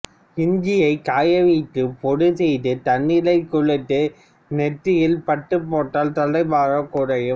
இஞ்சியைக் காயவைத்து பொடி செய்து தண்ணீரில் குழைத்து நெற்றியில் பற்றுப் போட்டால் தலைபாரம் குறையும்